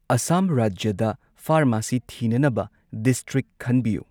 ꯑꯁꯥꯝ ꯔꯥꯖ꯭ꯌꯗ ꯐꯥꯔꯃꯥꯁꯤ ꯊꯤꯅꯅꯕ ꯗꯤꯁꯇ꯭ꯔꯤꯛ ꯈꯟꯕꯤꯌꯨ꯫